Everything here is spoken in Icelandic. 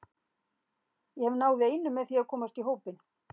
Ég hef náð einu með því að komast í hópinn.